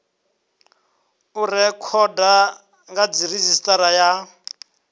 u rekhoda kha redzhisitara ya